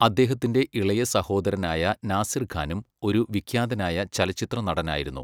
അദ്ദേഹത്തിൻ്റെ ഇളയ സഹോദരനായ നാസിർ ഖാനും ഒരു വിഖ്യാതനായ ചലച്ചിത്ര നടനായിരുന്നു.